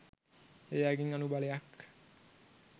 ඒ අයගෙන් අනුබලයක්